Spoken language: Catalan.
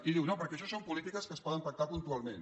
i diu no perquè això són polítiques que es poden pactar puntualment